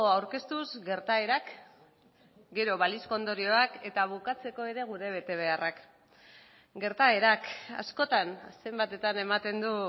aurkeztuz gertaerak gero balizko ondorioak eta bukatzeko ere gure betebeharrak gertaerak askotan zenbatetan ematen du